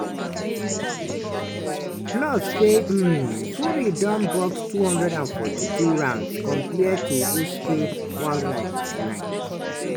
plus say um fury don box 242 rounds compared to usyk 189.